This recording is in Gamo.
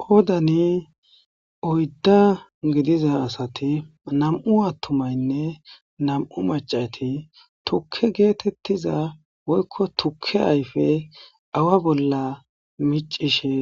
Qoodani oydda gidiza asati nam'u attumaynne nam'u macati tukke geetettiza woykko tukke ayfe awa bolla micishe